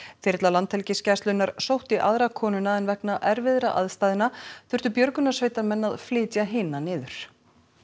þyrla Landhelgisgæslunnar sótti aðra konuna en vegna erfiðra aðstæðna þurftu björgunarsveitarmenn að flytja hina niður